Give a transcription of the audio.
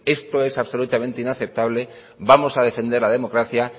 esto es absolutamente inaceptable vamos a defender la democracia